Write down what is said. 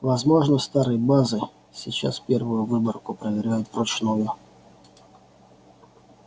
возможно старые базы сейчас первую выборку проверяют вручную